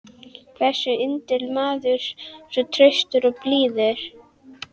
hversu yndislegur maður, svo traustur, svo blíður.